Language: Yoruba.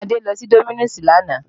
Bẹ́ẹ̀ni, Adé lọ sí Domino's lánàá